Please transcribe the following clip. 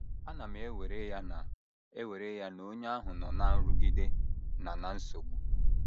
Ana m ewere ya na ewere ya na onye ahụ nọ ná nrụgide na ná nsogbu.